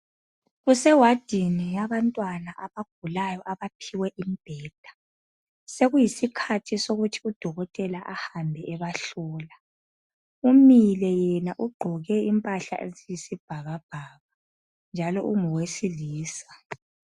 Kuse wardini yabantwana abagulayo abaphiwe imbheda sekuyisikhathi sokuthi udokotela ahambe ebahlola umile yena ugqoke impahla eziyisibhakabhaka njalo ungowesilisa.